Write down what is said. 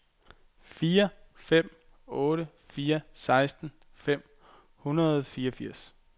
fire fem otte fire seksten fem hundrede og fireogfirs